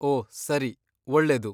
ಓ ಸರಿ, ಒಳ್ಳೆದು.